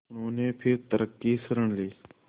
उन्होंने फिर तर्क की शरण ली